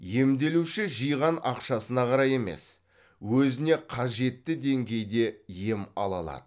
емделуші жиған ақшасына қарай емес өзіне қажетті деңгейде ем ала алады